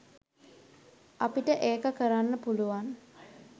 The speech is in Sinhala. අපිට ඒක කරන්න පුළුවන්.